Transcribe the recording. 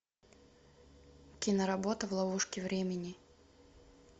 киноработа в ловушке времени